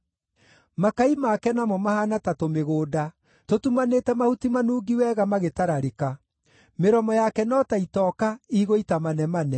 Makai make namo mahaana ta tũmĩgũnda tũtumanĩte mahuti manungi wega magĩtararĩka. Mĩromo yake no ta itoka igũita manemane.